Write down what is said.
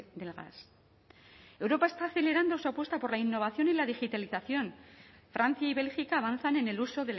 del gas europa está acelerando su apuesta por la innovación y la digitalización francia y bélgica avanzan en el uso